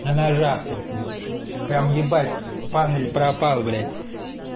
на ножах тут ебт прям ебать пан или пропал блять